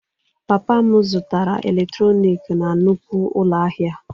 Papa m zụtara eletrọnịkị na nnukwu ụlọ ahịa